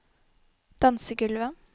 dansegulvet